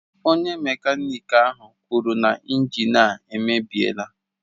Onye mekaniki ahụ kwuru na injin a emebiela